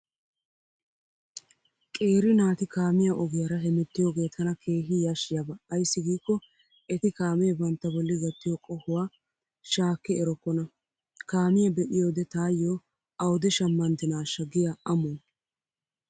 Qeeri naati kaamiyaa ogiyaara hemettiyoogee tana keehi yashshiyaaba ayssi giikko eti kaamee bantta bolli gattiyo qohuwaa shaakki erokkona. Kaamiyaa be'iyoode taayyo awude shammanddinaashsha giyaa amuwaa.